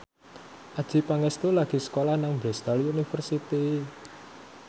Adjie Pangestu lagi sekolah nang Bristol university